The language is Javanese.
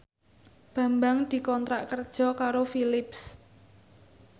Bambang dikontrak kerja karo Philips